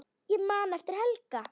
Ég man eftir Helga.